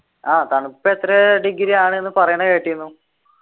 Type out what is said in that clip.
ആഹ് തണുപ്പെത്രെ degree ആണ്ന്ന് പറയണ കേട്ടിന്നു